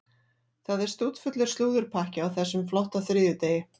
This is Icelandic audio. Það er stútfullur slúðurpakki á þessum flotta þriðjudegi.